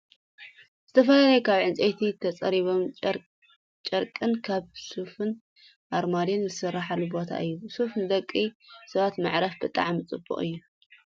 ዝተፈላለዩ ካብ ዕንፀይቲ ተፀሪቡን ጨርቅን ከም ሶፋን ኣርማድዮን ዝስራሕሉ ቦታ እዩ ። ሶፋ ንደቂ ሰባት መዕረፊ ብጣዕሚ ፅቡቅ እዩ ።